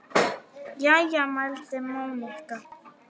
Jæja mælti Monika.